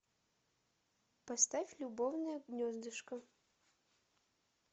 поставь любовное гнездышко